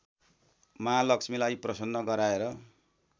महालक्ष्मीलाई प्रसन्न गराएर